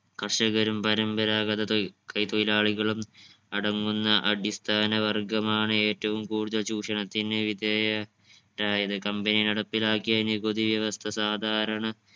കർഷകരും പരമ്പരാഗത തോഴി കൈ തൊഴിലാളികളും കടംവന്ന അടിസ്ഥാന വർഗ്ഗം ആണ് ഏറ്റവും കൂടുതൽ ചൂഷണത്തിന് വിധേയരായത് company നടപ്പിലാക്കിയ നികുതി വ്യവസ്ഥ സാധാരണ